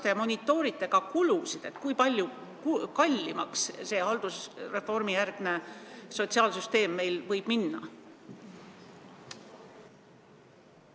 Kas te monitoorite ka kulusid, kui palju kallimaks haldusreformijärgne sotsiaalsüsteem meil võib minna?